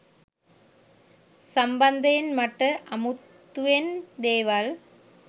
සම්බන්ධයෙන් මට අමුතුවෙන් දේවල්